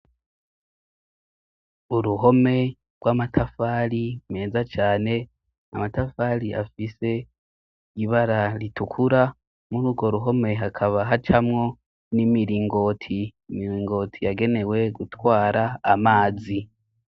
Uruhome rw'amatafali meza cane amatafali afise ibara ritukura muri urwo ruhome hakaba hacamwo n'imiringoti miringoti yagenewe gutwara amazi.